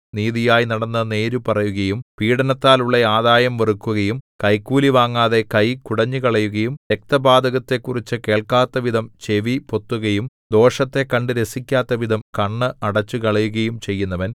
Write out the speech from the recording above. നീതിയായി നടന്നു നേര് പറയുകയും പീഡനത്താൽ ഉള്ള ആദായം വെറുക്കുകയും കൈക്കൂലിവാങ്ങാതെ കൈ കുടഞ്ഞുകളയുകയും രക്ത പാതകത്തെക്കുറിച്ചു കേൾക്കാത്തവിധം ചെവി പൊത്തുകയും ദോഷത്തെ കണ്ടു രസിക്കാത്തവിധം കണ്ണ് അടച്ചുകളയുകയും ചെയ്യുന്നവൻ